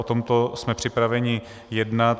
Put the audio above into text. O tomto jsme připraveni jednat.